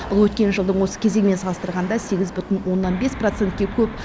бұл өткен жылдың осы кезеңімен салыстырғанда сегіз бүтін оннан бес процентке көп